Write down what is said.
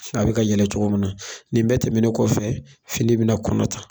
a bɛ ka yɛlɛ cogo min na, nin bɛ tɛmɛnen kɔfɛ fini bɛna kɔnɔ ta.